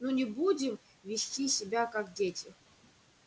ну не будем вести себя как дети